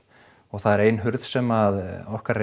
og það er ein hurð þar sem að okkar